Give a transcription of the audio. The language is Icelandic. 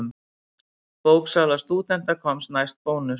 Bóksala stúdenta komst næst Bónus.